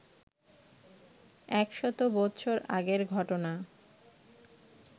এক শত বৎসর আগের ঘটনা